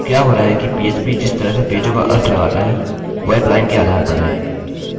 अतः जो कोड हमने यहाँ देखा है वह उसी के समान है